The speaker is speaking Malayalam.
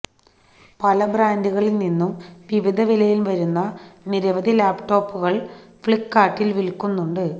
പല ബ്രാൻഡുകളിൽ നിന്നും വിവിധ വിലയിൽ വരുന്ന നിരവധി ലാപ്ടോപ്പുകൾ ഫ്ലിപ്കാർട്ട് വിൽക്കുന്നുണ്ട്